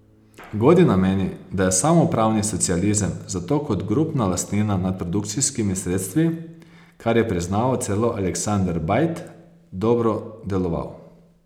Godina meni, da je samoupravni socializem zato kot grupna lastnina nad produkcijskimi sredstvi, kar je priznaval celo Aleksander Bajt, dobro deloval.